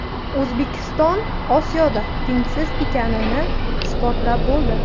O‘zbekiston Osiyoda tengsiz ekanini isbotlab bo‘ldi.